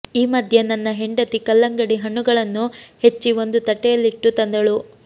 ಈ ಮಧ್ಯೆ ನನ್ನ ಹೆಂಡತಿ ಕಲ್ಲಂಗಡಿ ಹಣ್ಣುಗಳನ್ನು ಹೆಚ್ಚಿ ಒಂದು ತಟ್ಟೆಯಲ್ಲಿಟ್ಟು ತಂದಳು